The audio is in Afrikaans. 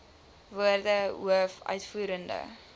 woorde hoof uitvoerende